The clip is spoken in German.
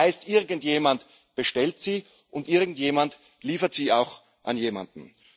Das heißt, irgendjemand bestellt sie und irgendjemand liefert sie auch an jemanden.